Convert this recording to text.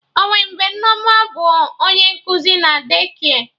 Onwe mgbe Nneoma bụ onye nkuzi na De-kia